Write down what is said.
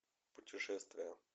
путешествия